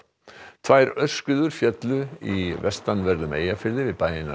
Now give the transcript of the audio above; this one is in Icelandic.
tvær aurskriður féllu í vestanverðum Eyjafirði við bæina